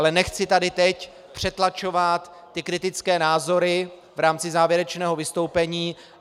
Ale nechci tady teď přetlačovat ty kritické názory v rámci závěrečného vystoupení.